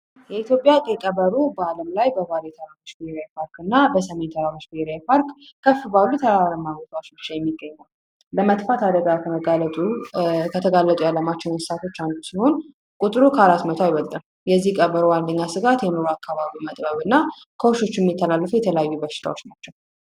የኢትዮጵያ ቀይ ቀበሮ በዓለም ላይ በቫሊ ተራሮች ብሔራዊ ፓርክ እና በሰሜን ተራሮች ብሔራዊ ፓርክ እና ከፍ ባሉበት ተራራማ ቦታዎች ብቻ የሚገኝ ነው በመጥፋት አደጋ እንስሳቶች አንዱ ነው ቁጡ ከአራት መቶ አይበልጥም የዚህ ቀበሮ ዋነኛ ስጋቴ የመኖሪያ አካባቢው መጥበብ እና የሚተላለፉ የተለያዩ በሽታዎች ናቸው።